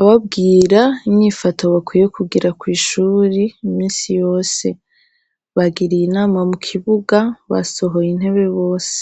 ababwira inyifato bakwiye kugira kw'ishuri imisi yose, bagiriye inama mu kibuga basohoye intebe bose.